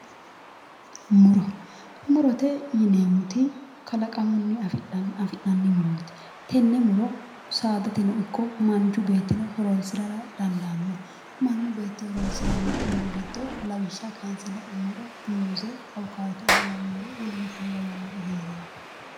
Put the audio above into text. Muro, murote yinneemmoti kalaqamunni afi'nanni muroti, tene muro saadateno ikko manchi beettino horonsirara dandaano, mannu beetti horonsirano muro giddo lawishshaho kayinse la'nuummoro muuze, awukkado woluno kuri lawanori heera dandaano.